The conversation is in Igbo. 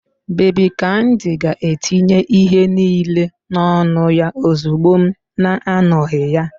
Babi kamdi ga-etinye ihe niile n'ọnụ ya ozugbo m na-anọghị ya